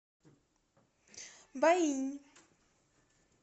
байинь